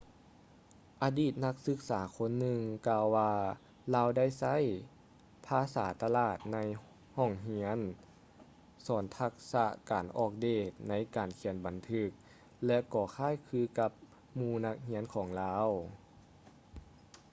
ອະດີດນັກສຶກສາຄົນໜຶ່ງກ່າວວ່າລາວໄດ້ໃຊ້ ພາສາຕະຫຼາດໃນຫ້ອງຮຽນ ສອນທັກສະການອອກເດດໃນການຂຽນບັນທຶກ ແລະ ກໍຄ້າຍຄືກັບໝູ່ນັກຮຽນຂອງລາວ